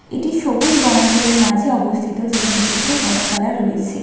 এটি সবুজ বনাঞ্চলের মাঝে অবস্থিত যেখানে প্রচুর গাছপালা রয়েছে।